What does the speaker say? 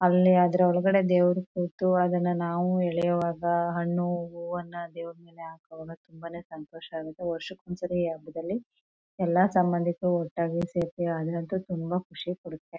ಅಲ್ಲಿ ಆದ್ರೂ ಒಳಗಡೆ ದೇವರು ಕೂತು ಅದನ್ನ ನಾವು ಎಳಿಯುವಾಗ ಹಣ್ಣು ಹೂವುನ ದೇವರು ಮೇಲೆ ಹಾಕುವಾಗ ತುಂಬಾನೇ ಸಂತೋಷ ಆಗುತ್ತೆ ವರ್ಷಕೊಂದ್ಸಲಿ ಹಬ್ಬದಲ್ಲಿ ಎಲ್ಲ ಸಂಭಂದಿಕರು ಒಟ್ಟಾಗಿ ಸೇರ್ತೀವಿ ಅದು ಅಂತೂ ತುಂಬಾ ಖುಷಿ ಕೊಡುತ್ತೆ.